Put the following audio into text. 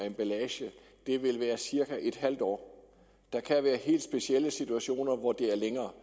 emballage er cirka en halv år der kan være helt specielle situationer hvor det er længere